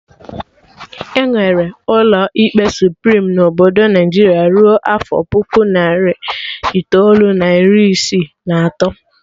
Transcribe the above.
Enwerọ ụlọ ikpe Suprim na Obodo Naijiria rue afọ puku narị itoolu na iri isii na atọ